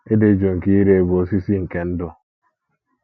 Ịdị jụụ nke ire bụ osisi nke ndụ.